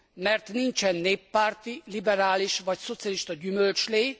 Mert nincsen néppárti, liberális vagy szocialista gyümölcslé.